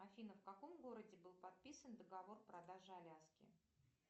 афина в каком городе был подписан договор продажи аляски